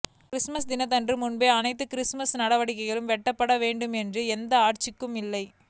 Christmas தினத்திற்கு முன்பே அனைத்து கிறிஸ்துமஸ் நடவடிக்கைகளும் வெட்டப்பட வேண்டும் என்று எந்த ஆட்சிக்கும் இல்லை